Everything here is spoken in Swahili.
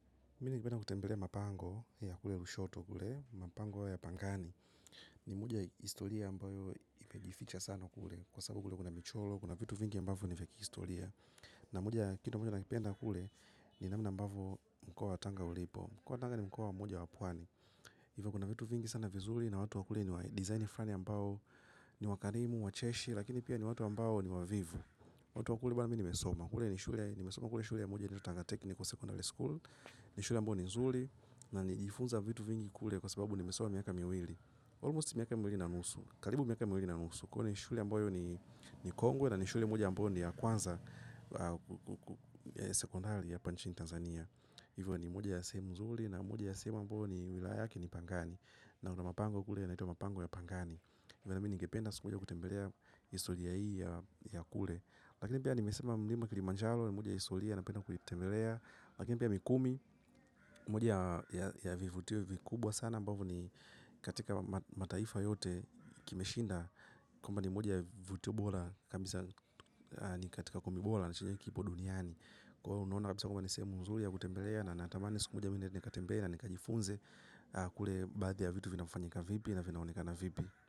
Mi ningependa kipenda kutembelea mapango ya kule kushoto kule, mapango ya pangani ni moja historia ambayo imejificha sana kule kwa sababu kule kuna micholoro, kuna vitu vingi ambavyo ni vya kihistoria na moja ya kitu moja nakipenda kule ni namna ambavyo mkoa wa tanga ulipo mkoa wa tanga ni mkoa mmoja wa pwani hivyo kuna vitu vingi sana vizuri na watu wa kule ni wa design fulani ambao ni wakarimu, wacheshi, lakini pia ni watu ambao ni wavivu watu wa kule bana mimi nimesoma kule ni shule, nimesoma kule shule ya moja inaitwa tanga technical secondary school ni shule ambayo ni zuri na nilijifunza vitu vingi kule kwa sababu nimesoma miaka miwili almost miaka miwili na nusu karibu miaka miwili na nusu kwani shule ambayo ni ni kongwe na ni shule moja ambayo ni ya kwanza sekondari hapa nchini Tanzania hivyo ni moja ya sehemu zuri na moja ya sehemu ambayo ni wilaya yake ki ni Pangani naona mapango kule naitwa mapango ya Pangani hivyo nami nigependa siku moja kutembelea historia hii ya kule lakini pia nimesoma mlima kilimanjaro ni moja ya historia napenda kuitembelea. Lakini pia mikumi, moja ya vivutio vikubwa sana ambavyo ni katika mataifa yote kimeshinda. Kwamba ni moja ya vivutio bora kabisa na katika kumi bora na chinyewe kipo duniani. Kwaiyo unaona kabisa kwamba nisemu nzuri ya kutembelea na natamani siku mojana mi niende nikatembelee na nikajifunze. Kule baadhi ya vitu vinafanyika vipi na vinaonekana vipi.